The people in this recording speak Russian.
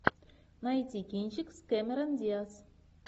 найти кинчик с кэмерон диаз